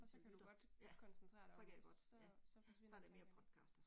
Og så kan du godt koncentrere dig om? Så så forsvinder det ikke igen